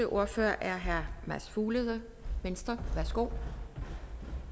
ordfører er herre mads fuglede venstre værsgo